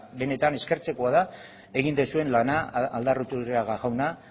benetan eskertzekoa da egin duzuen lana aldaiturriaga jauna